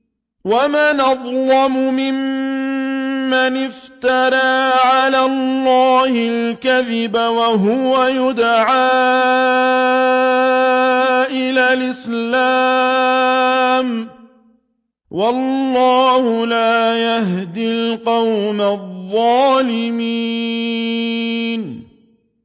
وَمَنْ أَظْلَمُ مِمَّنِ افْتَرَىٰ عَلَى اللَّهِ الْكَذِبَ وَهُوَ يُدْعَىٰ إِلَى الْإِسْلَامِ ۚ وَاللَّهُ لَا يَهْدِي الْقَوْمَ الظَّالِمِينَ